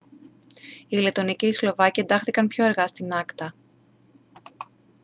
οι λετονοί και οι σλοβάκοι εντάχθηκαν πιο αργά στην acta